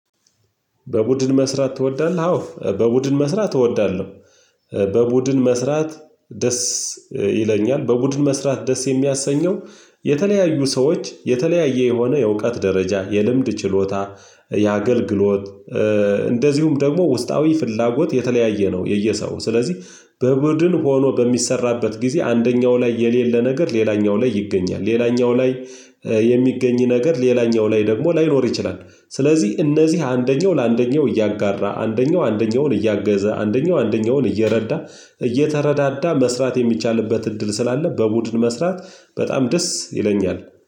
በቡድን መስራት ትወዳለህ? አዎ በቡድን መስራት እወዳለሁ። በቡድን መስራት ደስ ይለኛል። በቡድን መስራት ደስ የሚያሰኘው የተለያዩ ሰዎች የተለያየ የሆነ የእውቀት ደረጃ፣ የልምድ ችሎታ የአገልግሎት፣ እንደዚሁም ደግሞ ውስጣዊ ፍላጎት የተለያየ ነው የየሰው። ስለዚህ በቡድን ሆኖ በሚሰራበት ጊዜ አንደኛው ላይ የሌለ ነገር ሌላኛው ላይ ይገኛል። ሌላኛው ላይ የሚገኝ ነገር ሌላኛው ላይ ደግሞ ላይኖር ይችላል። ስለዚህ እነዚህ አንደኛው ለአንደኛው እያጋራ፤ አንደኛው አንደኛውን እያገዘ፤ አንደኛው አንደኛውን እየረዳ፤ እየተረዳዳ መስራት የሚቻልበት እድል ስላለ በቡድን መስራት በጣም ደስ ይለኛል።